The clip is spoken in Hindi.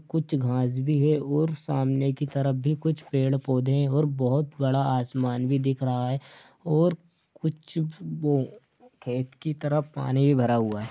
कुछ घास भी है और सामने की तरफ भी कुछ पेड़-पौधे हैं और बहुत बड़ा आसमान भी दिख रहा है और कुछ वो- खेत की तरफ पानी भी भरा हुआ है।